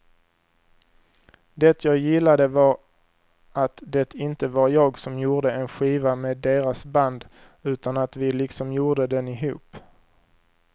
Det jag gillade var att det inte var jag som gjorde en skiva med deras band utan att vi liksom gjorde den ihop.